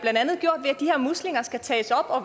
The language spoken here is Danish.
muslinger skal tages op og